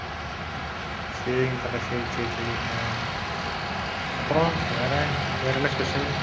சரிங்க தல, சரி, சரி சரி அஹ் அப்புறம் வேற, வேற என்ன special